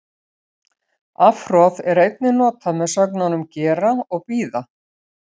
Afhroð er einnig notað með sögnunum gera og bíða.